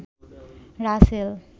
Rasel